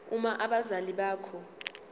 uma abazali bakho